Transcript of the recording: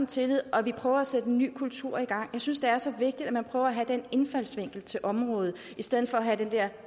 tillid og vi prøver at sætte en ny kultur i gang jeg synes det er så vigtigt at man prøver at have den indfaldsvinkel til området i stedet for at have den der